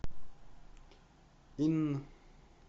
инн